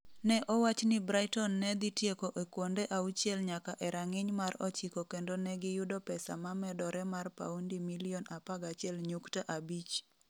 Ne owach ni Brighton ne dhi tieko e kuonde auchiel nyaka e rang'iny mar 9 kendo ne giyudo pesa ma medore mar paundi milion 11.5.